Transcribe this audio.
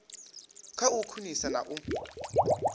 kha u khwinisa na u